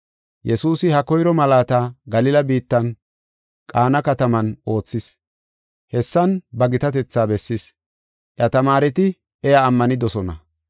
Yesuusi ha koyro malaata Galila biittan Qaana kataman oothis; hessan ba gitatetha bessis. Iya tamaareti iya ammanidosona.